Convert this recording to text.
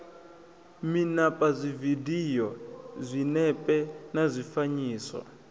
mimapa dzividio zwinepe na zwifanyiso